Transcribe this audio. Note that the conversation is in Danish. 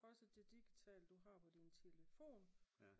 Også det digitale du har på din telefon